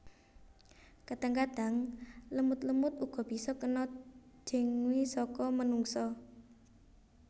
Kadang kadang lemut lemut uga bisa kena dengue saka manungsa